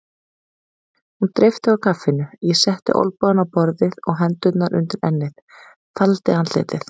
Hún dreypti á kaffinu, ég setti olnbogana á borðið og hendurnar undir ennið, faldi andlitið.